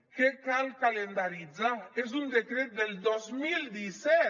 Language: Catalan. què cal calendaritzar és un decret del dos mil disset